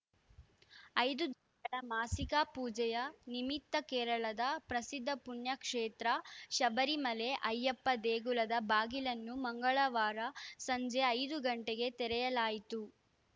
ಐದು ಮಾಸಿಕ ಪೂಜೆಯ ನಿಮಿತ್ತ ಕೇರಳದ ಪ್ರಸಿದ್ಧ ಪುಣ್ಯ ಕ್ಷೇತ್ರ ಶಬರಿಮಲೆ ಅಯ್ಯಪ್ಪ ದೇಗುಲದ ಬಾಗಿಲನ್ನು ಮಂಗಳವಾರ ಸಂಜೆ ಐದು ಗಂಟೆಗೆ ತೆರೆಯಲಾಯಿತು